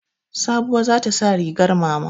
Sabuwa za ta sa rigar mama.